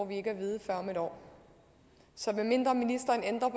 vi ikke at vide før om et år så medmindre ministeren ændrer